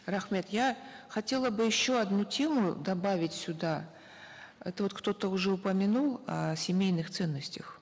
рахмет я хотела бы еще одну тему добавить сюда это вот кто то вот уже упомянул о семейных ценностях